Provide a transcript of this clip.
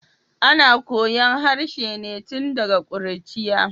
Ana koyon harshe ne tun daga kuruciya.